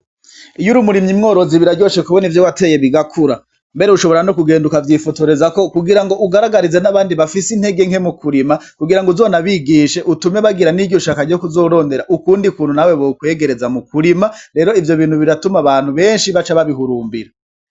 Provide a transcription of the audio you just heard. Iyo ur'umurimyi-mworozi biraryoshe kubona ivyo wateye bigakura, mbere ushobora no kugenda ukavyifotorezako kugira ngo ugaragarize n'abandi bafise intege nke mu kurima ,kugira ngo uzonabigishe utume bagira n'iryo shaka ryo kuzorondera ukundi kuntu nawe bokwegereza mu kurima. rero ivyo bintu biratuma abantu benshi baca babihurumbira.